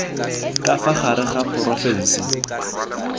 ka fa gare ga porofensi